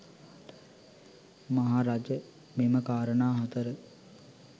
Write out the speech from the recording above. මහරජ මෙම කාරණා හතර